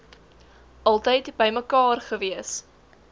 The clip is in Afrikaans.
altyd bymekaar gewees